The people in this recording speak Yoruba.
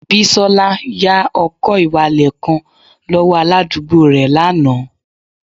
Bisola ya ọkọ-ìwalẹl kan lọwọ aladugbo rẹ lana